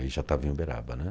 Eu já estava em Uberaba, né?